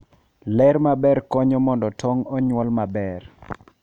Ler maber konyo mondo tong' onyuol maber.